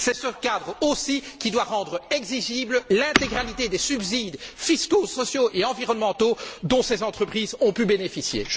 C'est ce cadre aussi qui doit rendre exigible l'intégralité des subsides fiscaux, sociaux et environnementaux dont ces entreprises ont pu bénéficier.